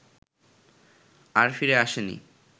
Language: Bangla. আর ফিরে আসেনি